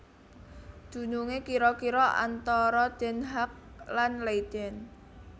Dunungé kira kira antara Den Haag lan Leiden